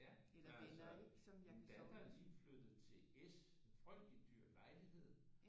Ja men altså min datter er lige flyttet til S en frygteligt dyr lejlighed